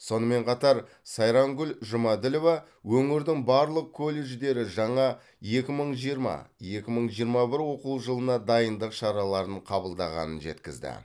сонымен қатар сайрангүл жұмаділова өңірдің барлық колледждері жаңа екі мың жиырма екі мың жиырма бір оқу жылына дайындық шараларын қабылдағанын жеткізді